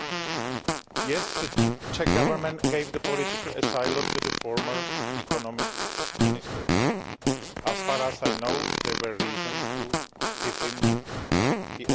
Yes, the Czech Government gave political asylum to the former Economic Minister. As far as I know, there were reasons to give him asylum